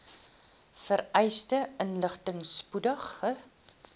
vereiste inligting spoedig